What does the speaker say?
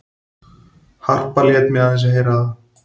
Harpa lét mig aðeins heyra það.